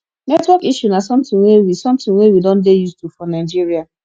network issue na something wey we something wey we don dey used to for nigeria